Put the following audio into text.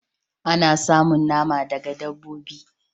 Ana samun nama daga dabbobi